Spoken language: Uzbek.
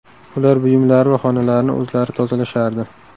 Ular buyumlari va xonalarini o‘zlari tozalashardi.